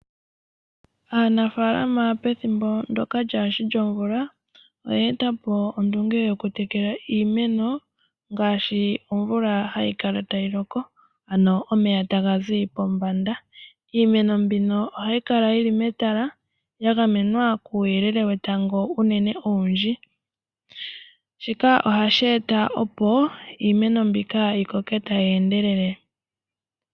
Aanafalama pethimbo ndyoka kalishi lomvula oya etapo ondunge yoku tekela iimeno ngashi omvula hayi kala tayi loko, ano omeya taga zi pombanda. Iimeno mbino ohayi kala yili metala ya gamenwa kuuyelele wetango unene owindji, shika ohashi eta opo iimeno mbika ti koke tayi endelele.